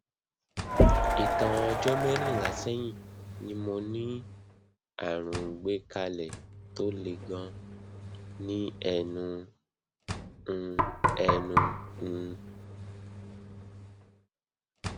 ìtàn ọjọ mẹrìnlá sẹyìn ni mo ní àrùn gbẹkálẹ tó le ganan ní ẹnu um ẹnu um